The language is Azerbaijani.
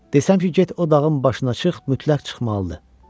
Desəm ki get o dağın başına çıx, mütləq çıxmalıdır.